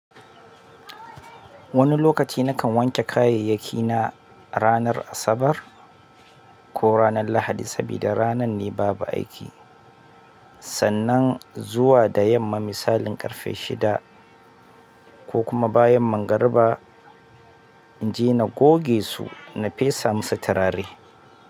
Wani lokaci nakan wanke kayayyakina ranar Asabar ko ranar Lahadi sabida ranan ne babu aiki. Sannan zuwa da yamma misalin ƙarfe shida ko kuma bayan magariba, in je na goge su na fesa musu turare.